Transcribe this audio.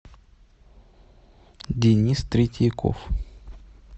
денис третьяков